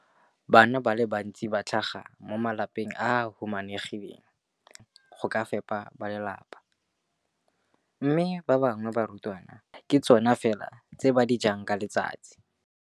Bana ba le bantsi ba tlhaga mo malapeng a a humanegileng a a sokolang go ka fepa ba lelapa mme ba bangwe ba barutwana, dijo tseo ke tsona fela tse ba di jang ka letsatsi.